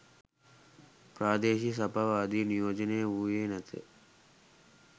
ප්‍රාදේශීය සභාව ආදිය නියෝජනය වූයේ නැත